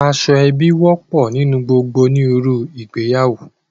Aṣọ ẹbi wọ́pọ̀ nínú gbogbo òníruru ìgbéyàwó